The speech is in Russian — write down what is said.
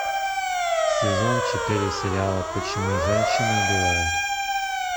сезон четыре сериала почему женщины убивают